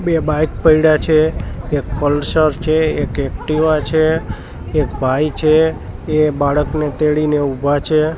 બે બાઇક પઇડા છે એક પલસર છે એક એક્ટિવા છે એક ભાઈ છે એ બાળકને તેડીને ઉભા છે.